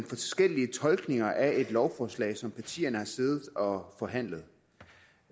forskellige tolkninger af et lovforslag som partierne har siddet og forhandlet